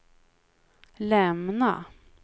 lämna